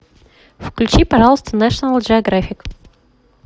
включи пожалуйста нэшионал джеографик